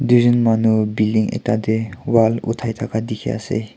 tui jon manu building ekta te wall uthai thaka dikhi ase.